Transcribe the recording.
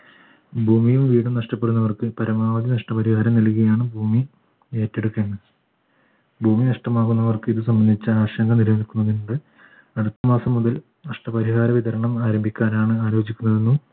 ഭൂമിയും വീടും നഷ്ടപ്പെടുന്നവർക്ക് പരമാവധി നഷ്ടപരിഹാരം നൽകുകയാണ് ഭൂമി ഏറ്റെടു ഭൂമി നഷ്ടമാകുന്നവർക്ക് ഇത് സംബന്ധിച്ച ആശങ്ക നിലനിൽക്കു അടുത്തമാസം മുതൽ നഷ്ടപരിഹാര വിതരണം ആരംഭിക്കാനാണ് ആലോചിക്കുന്നതെന്നും